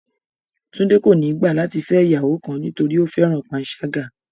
Túndé kò ní gbà láti fẹ̀ iyàwọ kan nítorí pé ófẹran pànsàgà